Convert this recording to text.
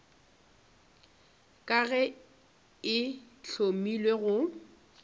ka ge e hlamilwe go